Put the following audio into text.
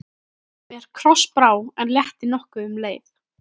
Mér krossbrá, en létti nokkuð um leið.